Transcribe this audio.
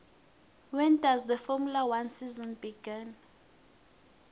when does the formula one season begin